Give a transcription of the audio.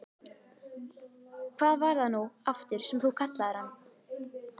Hvað var það nú aftur sem þú kallaðir hann?